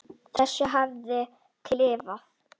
þessu hafði hún klifað.